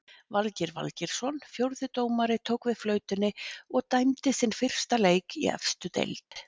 Valgeir Valgeirsson fjórði dómari tók við flautunni og dæmdi sinn fyrsta leik í efstu deild.